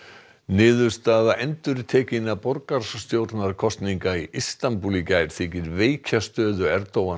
niðurstaða endurtekinna borgarstjórnarkosninga í Istanbúl í gær þykir veikja stöðu